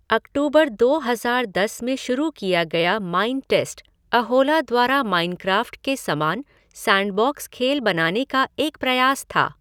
अक्टूबर दो हज़ार दस में शुरू किया गया माइनटेस्ट, अहोला द्वारा माइनक्राफ़्ट के समान सैंडबॉक्स खेल बनाने का एक प्रयास था।